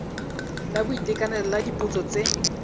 la boitekanelo la dipotso tse